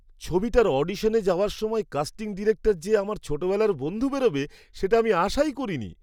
ছবিটার অডিশনে যাওয়ার সময় কাস্টিং ডিরেক্টর যে আমার ছোটবেলার বন্ধু বেরোবে সেটা আমি আশাই করিনি!